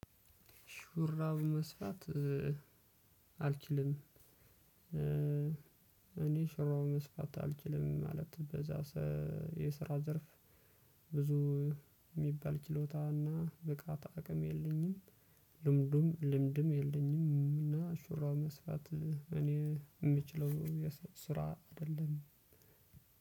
ሹራብ መስፋት አልችልም። እኔ ሹራብ መስፋት አልችልም ማለት በዛ የስራ ዘርፍ ብዙ ሚባል ችሎታና ብቃት አቅም የለኝም ልምዱም ልምድም የለኝም። እና ሹራብ መስፋት እኔ ምችለው ስራ አደለም።